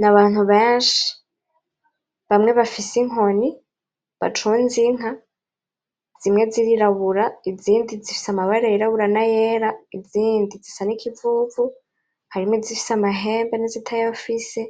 Nabantu benshi bamwe bafise inkoni bacunze inka zimwe zirirabura izindi zifise amabara yirabura n'ayera izindi zisa nikivuvu harimwo izifise amahembe nizitayafise